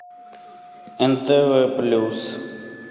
нтв плюс